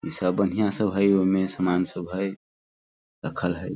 ई सब बढियां सब हई उमें सामान सब हई रखल हई।